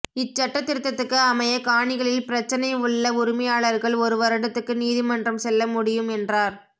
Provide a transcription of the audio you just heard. இச்சட்டத் திருத்தத்துக்கு அமைய காணிகளில் பிரச்சினை உள்ள உரிமையாளர்கள் ஒரு வருடத்துக்கு நீதிமன்றம் செல்ல முடியும் என்றார்